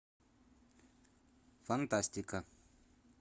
фантастика